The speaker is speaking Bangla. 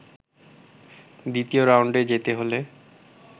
দ্বিতীয় রাউন্ডে যেতে হলে